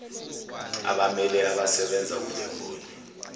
abammele abasebenza kulemboni